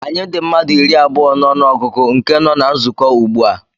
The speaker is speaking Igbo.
Anyị dị mmadụ iri abụọ na ọnụ ọgụgụ nke nọ na nzukọ ugbu a